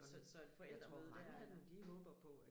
Så så et forældremøde der er der